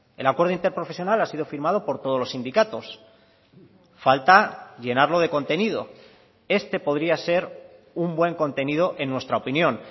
el acuerdo interprofesional ha sido firmado por todos los sindicatos falta llenarlo de contenido este podría ser un buen contenido en nuestra opinión